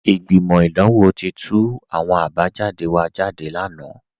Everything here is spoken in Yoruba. Ìgbimọ́ idanwò ti tú àwọn àbájàdé wa jádé lánà